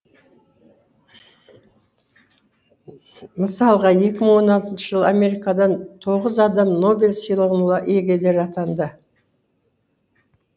мысалға екі мың он алтыншы жылы америкадан тоғыз адам нобель сыйлығына иегері атанды